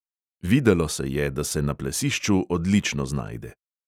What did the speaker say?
Videlo se je, da se na plesišču odlično znajde.